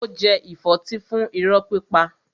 Ó jẹ ìfọ́tí fún irọ́ pípa.